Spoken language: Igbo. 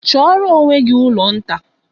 Chọọrọ onwe gị ụlọ nta!